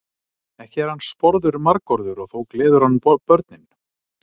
Ekki er hann sporður margorður og þó gleður hann börnin.